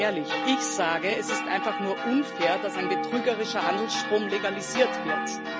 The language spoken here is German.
Aber mal ehrlich Ich sage, es ist einfach nur unfair, dass ein betrügerischer Handelsstrom legalisiert wird.